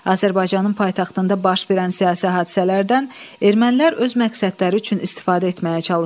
Azərbaycanın paytaxtında baş verən siyasi hadisələrdən ermənilər öz məqsədləri üçün istifadə etməyə çalışdılar.